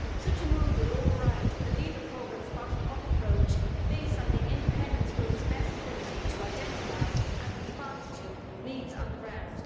Such a move would override the LEADER programme's bottom up approach based on the independence group's best ability to identify and respond to needs on the ground.